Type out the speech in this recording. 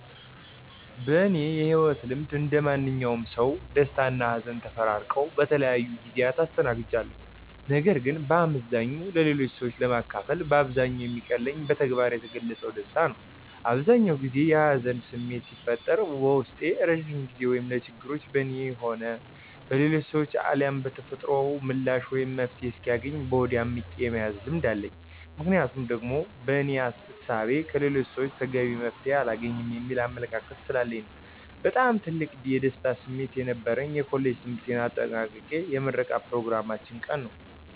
በእኔ የህይወት ልምድ እንደማንኛውም ሰው ደስታና ሀዘን ተፈራርቀው በተለያዩ ጊዜያት አስተናግጃቸዋለሁ። ነገር ግን በአመዛኙ ለሌሎች ሰዎች ለማካፈል በአብዛኛው የሚቀለኝና በተግባር የገለፅኩት ደስታዬን ነው። አብዛኛውን ጊዜ የሀዘን ስሜት ሲፈጠርብኝ በውስጤ ለረዥም ጊዜ ወይም ለችግሩ በእኔም ሆነ በሌሎች ሰዎች አልያም በተፈጥሮ ምላሽ ወይም መፍትሔ እስኪያገኝ በሆዴ አምቄ የመያዝ ልምድ አለኝ። ምክንያቴ ደግሞ በእኔ እሳቤ ከሌሎች ሰወች ተገቢ መፍትሔ አላገኝም የሚል አመለካከት ስላለኝ ነው። በጣም ትልቅ የደስታ ስሜት የነበረኝ የኮሌጅ ትምህርቴን አጠናቅቄ የምረቃ ኘሮግራማችን ቀን ነዉ።